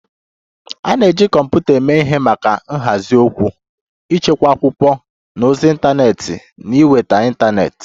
A na-eji kọmputa eme ihe maka nhazi okwu, ịchekwa akwụkwọ na ozi ịntanetị na ịnweta ịntanetị